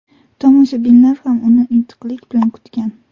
Tomoshabinlar ham uni intiqlik bilan kutgan.